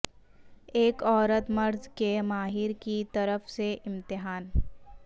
ایک عورت مرض کے ماہر کی طرف سے امتحان